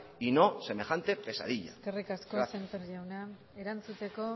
y no semejante pesadilla gracias eskerrik asko sémper jauna erantzuteko